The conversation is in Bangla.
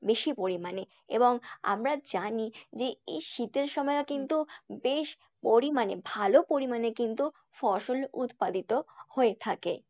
বেশি পরিমাণে এবং আমরা জানি যে এই শীতের সময়ও কিন্তু বেশ পরিমাণে ভালো পরিমাণে কিন্তু ফসল উৎপাদিত হয়ে থাকে।